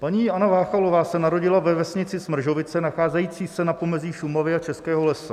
Paní Anna Váchalová se narodila ve vesnici Smržovice nacházející se na pomezí Šumavy a Českého lesa.